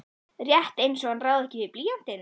Rétt einsog hann ráði ekki við blýantinn.